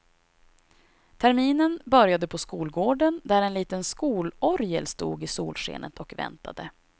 Terminen började på skolgården, där en liten skolorgel stod i solskenet och väntade.